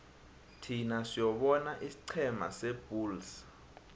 thin siyobona isiqhema sebulls